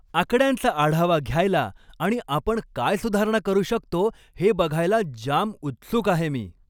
आकड्यांचा आढावा घ्यायला आणि आपण काय सुधारणा करू शकतो हे बघायला जाम उत्सुक आहे मी.